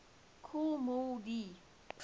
kool moe dee